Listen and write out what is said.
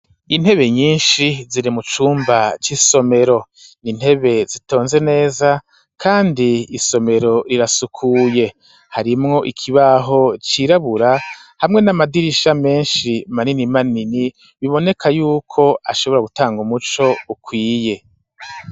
Intebe nyishi ziri mu cumba c'isomero n'intebe zitonze neza kandi isomero rirasukuye harimwo ikibaho cirabura hamwe n'amadirisha meshi manini manini biboneka yuko ashobora gutanga umuco ukwiye.